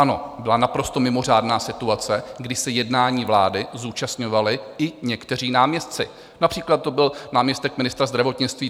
Ano, byla naprosto mimořádná situace, kdy se jednání vlády zúčastňovali i někteří náměstci, například to byl náměstek ministra zdravotnictví.